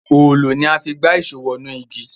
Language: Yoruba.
Òòlù ní a fí gbà Èṣó wọnú ìgi.